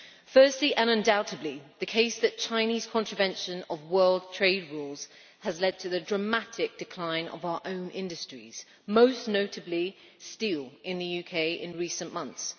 Firstly, and undoubtedly, the case that Chinese contravention of world trade rules has led to the dramatic decline of our own industries, most notably steel in the UK, in recent months.